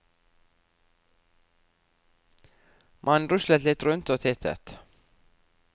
Man ruslet litt rundt og tittet.